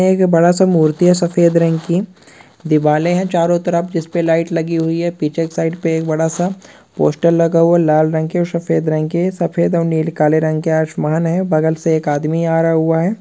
एक बड़ा सा मूर्तियां सफेद रंग की दीवारें हैं चारों तरफ जिस पर लाइट लगी हुई है पीछे की साइड पर एक बड़ा सा पोस्टर लगा हुआ लाल रंग के और सफेद रंग के सफेद और नीले काले रंग के आसमान है बगल से एक आदमी आ रहा हुआ है।